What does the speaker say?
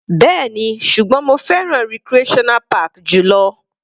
Bẹ́ẹ̀ni, ṣùgbọ́n mo fẹ́ràn recreational park jù lọ.